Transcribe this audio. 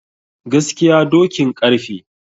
Gaskiya dokin ƙarfe